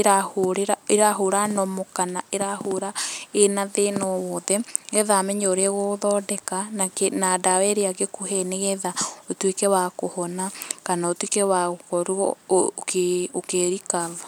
ĩrahũra, ĩrahũra normal kana ĩrahũra ĩna thĩna o wothe, nĩgetha amenye ũrĩa agũgũthondeka, na dawa ĩrĩa angĩkũhe nĩgetha ũtuĩke wa kũhona, kana ũtuĩke wa gũkorwo ũkĩ ũkĩ recover